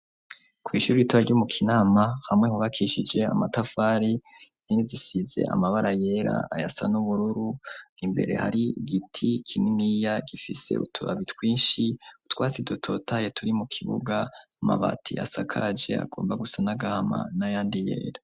Kw'ishuri itura ry'umu kinama hamwe nkubakishije amatafari zindi zisize amabara yera ayasa n'ubururu nimbere hari igiti kininiya gifise utubabi twinshi utwatsi dototaye turi mu kibuga amabati asakaje agomba gusa n'agahama n'a yandi yera.